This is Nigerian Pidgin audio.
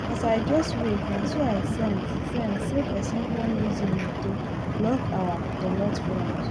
as i just wake naso i sense sense say pesin don use him moto block our dootmot front